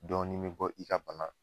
Dɔɔni bi bɔ i ka bana